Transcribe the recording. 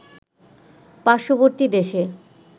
পার্শ্ববর্তী দেশে